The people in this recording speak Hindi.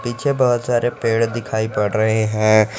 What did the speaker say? पीछे बहोत सारे पेड़ दिखाई पड़ रहे हैं।